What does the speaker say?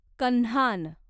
Kanhan